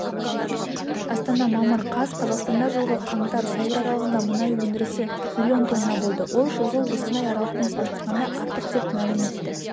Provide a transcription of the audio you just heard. астана мамыр қаз қазақстанда жылғы қаңтар-сәуір аралығында мұнай өндірісі миллион тонна болды ол жылғы осындай аралықпен салыстырғанда артық деп мәлім етті